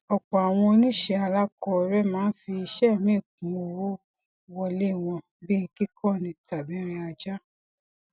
ọpọ àwọn oníṣẹ alákọọrẹ máa ń fi iṣẹ míì kún owó wọlé wọn bíi kíkọni tàbí rìn ajá